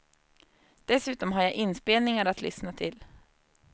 Dessutom har jag inspelningar att lyssna till.